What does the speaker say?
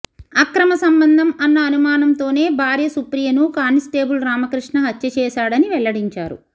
అక్రమ సంబంధం అన్న అనుమానంతోనే భార్య సుప్రియను కానిస్టేబుల్ రామకృష్ణ హత్య చేశాడని వెల్లడించారు